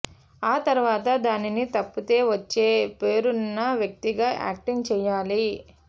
ఆ తర్వాత దానిని తప్పితే వచ్చే పేరున్న వ్యక్తిగా యాక్టింగ్ చేయాలి